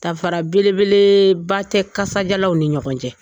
Dafara belebele ba tɛ kasadiyalaw ni ɲɔgɔn cɛ